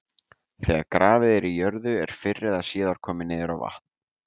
Þegar grafið er í jörðu er fyrr eða síðar komið niður á vatn.